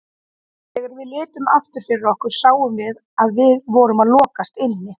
Þegar við litum aftur fyrir okkur sáum við að við vorum að lokast inni.